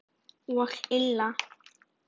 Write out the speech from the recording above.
Og illa.